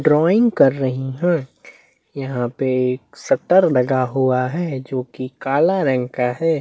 Drawing कर रही है यहाँ पे एक शटर लगा हुआ है जो कि काला रंग का है।